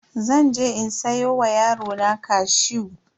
Zan je in siyo wa yarona cashew.